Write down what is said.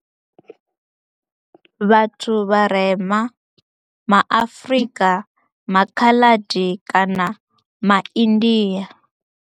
Vhathu vharema ma Afrika, ma Khaladi kana ma India.